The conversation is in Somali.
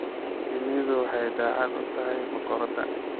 Shinnidu waxay daacad u tahay boqoradda.